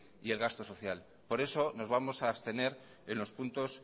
y el gasto social por eso nos vamos a abstener en los puntos